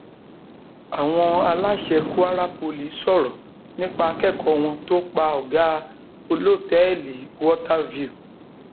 àwọn aláṣẹ kwara poli sọrọ nípa akẹkọọ wọn tó pa ọgá olótẹẹlì water view